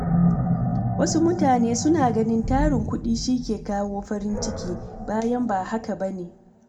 Wasu mutanen suna ganin tarin kuɗi shi ke kawo farin ciki, bayan ba haka ba ne